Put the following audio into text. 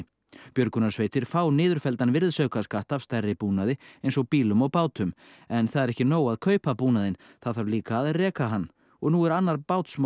björgunarsveitir fá niðurfelldan virðisaukaskatt af stærri búnaði eins og bílum og bátum en það er ekki nóg að kaupa búnaðinn það þarf líka að reka hann og nú er annar